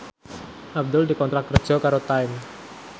Abdul dikontrak kerja karo Time